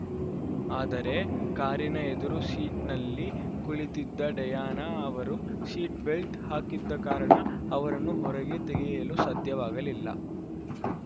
ಆದರೆ ಕಾರಿನ ಎದುರು ಸೀಟ್‌ನಲ್ಲಿ ಕುಳಿತಿದ್ದ ಡಯಾನ ಅವರು ಸೀಟ್‌ ಬೆಲ್ಟ್‌ ಹಾಕಿದ್ದ ಕಾರಣ ಅವರನ್ನು ಹೊರಗೆ ತೆಗೆಯಲು ಸಾಧ್ಯವಾಗಲಿಲ್ಲ